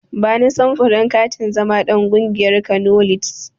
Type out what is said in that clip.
Bani samfurin katin zama ɗan ƙungiyar Kano lids.